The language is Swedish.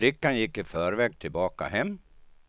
Flickan gick i förväg tillbaka hem.